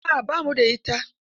A'a ba mu da ita.